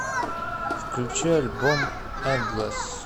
включи альбом эндлесс